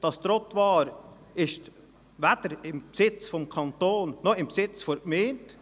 Dieses Trottoir ist weder im Besitz des Kantons noch im Besitz der Gemeinde.